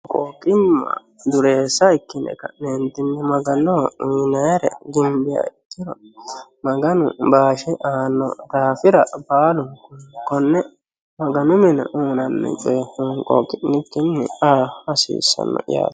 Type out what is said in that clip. honqooqimma dureessa ikkine ka'neentinni maganoho uyiinayiire ginbiha ikkiro maganu baashe aanno daafira konne maganu mine uyiinanni coye honqooqqi'nikinni aa hasiissanno yaate